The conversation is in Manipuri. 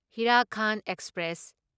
ꯍꯤꯔꯥꯈꯥꯟꯗ ꯑꯦꯛꯁꯄ꯭ꯔꯦꯁ